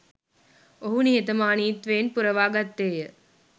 ඔහු නිහතමානීත්වයෙන් පුරවා ගත්තේ ය